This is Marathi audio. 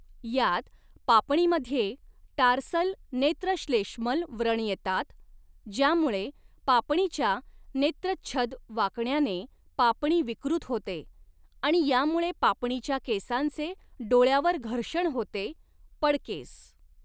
यात, पापणीमध्ये टार्सल नेत्रश्लेष्मल व्रण येतात, ज्यामुळे पापणीच्या नेत्रच्छद वाकण्याने पापणी विकृत होते, आणि यामुळे पापणीच्या केसांचे डोळ्यावर घर्षण होते पडकेस.